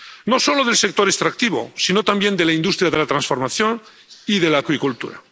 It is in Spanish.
No solo del sector extractivo, sino también de la industria de la transformación y de la acuicultura.